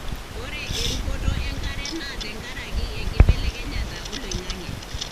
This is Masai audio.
ore erukoto enkare na tenkaraki enkibelekenyata oloingange.